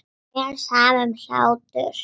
Mér er sama um hlátur.